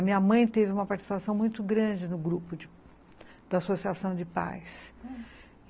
A minha mãe teve uma participação muito grande no grupo de da Associação de Pais )